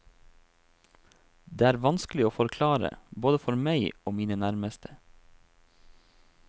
Det var vanskelig å forklare, både for meg og mine nærmeste.